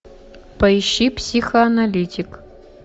поищи психоаналитик